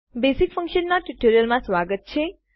basic ફંક્શનના ટ્યુટોરીયલમાં સ્વાગત છે